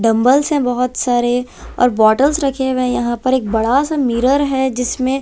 dumbbells है बहोत सारे और बॉटल्स रखे हुए यहां पर एक बड़ा सा मिरर है जिसमें--